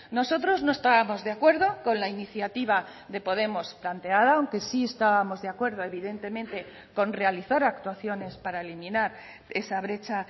nosotros no estábamos de acuerdo con la iniciativa de podemos planteada aunque sí estábamos de acuerdo evidentemente con realizar actuaciones para eliminar esa brecha